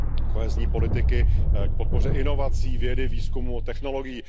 kohezní politiky k podpoře inovací, vědy, výzkumu, technologií.